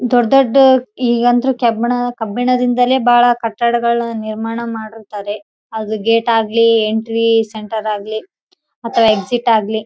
ದೊಡ್ಡ ದೊಡ್ಡ ಈಗಂತೂ ಕಬ್ಬಿಣ ದಿಂದಲೇ ಬಹಳ ಕಟ್ಟಡಗಳು ನಿರ್ಮಾಣ ಮಾಡಿರುತ್ತಾರೆ ಅದ್ರ ಗೇಟ್ ಆಗಲಿ ಎಂಟ್ರಿ ಸೆಂಟರ್ ಆಗ್ಲಿ ಎಕ್ಸಿಟ್ ಆಗ್ಲಿ-